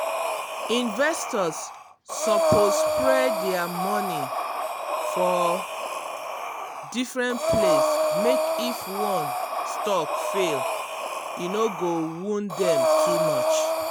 investors suppose spread dia money for um different place mek if one stock fall e no go wound dem too much.